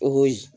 Oyi